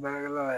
Baarakɛla y